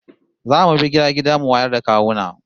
Za mu bi gida gida mu wayar da kawuna